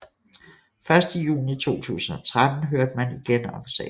Først i juni 2013 hørte man igen om sagen